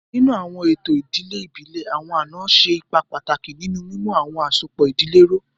Ninu awọn eto idile ibile, awọn ana ṣe ipa pataki ninu mimu awọn asopọ idile duro.